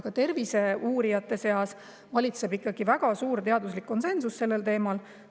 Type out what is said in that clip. Ka terviseuurijate seas valitseb väga suur teaduslik konsensus sellel teemal.